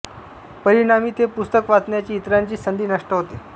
परिणामी ते पुस्तक वाचण्याची इतरांची संधी नष्ट होते